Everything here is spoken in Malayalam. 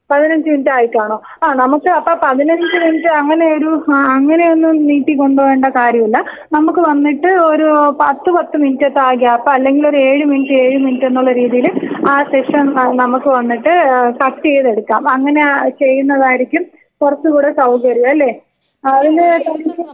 പതിനഞ്ച് മിനുറ്റ് ആയി കാണോ? ആ നമ്മുക്ക് അപ്പോ പതിനഞ്ച് മിനുട്ട് അങ്ങനെ ഒരു അങ്ങനെയൊന്നും നീട്ടി കൊണ്ടുപോവണ്ട കാര്യമില്ല. നമ്മുക്ക് വന്നിട്ട് ഒരു പത്ത് പത്ത് മിനുറ്റൊക്കെ ആ ഗ്യാപ് അല്ലെങ്കിൽ ഒരു ഏഴ് മിനുറ്റ് ഏഴ് മിനുറ്റ് എന്നുള്ള രീതിയിൽ ആ സെക്ഷൻ നമ്മുക്ക് വന്നിട്ട് ഏഹ് കട്ട് യിത് എടുക്കാം അങ്ങെനെ ചെയ്യുന്നതായിരിക്കും കുറച്ചുകൂടെ സൗകര്യം അല്ലെ? അതില് *നോട്ട്‌ ക്ലിയർ*.